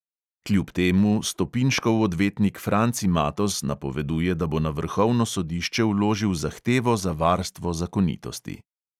Kljub temu stopinškov odvetnik franci matoz napoveduje, da bo na vrhovno sodišče vložil zahtevo za varstvo zakonitosti.